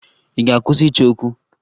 Ị ga-akwụsị ịchọ okwu?